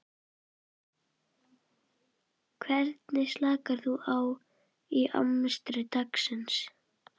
Hvernig slakar þú á í amstri dagsins?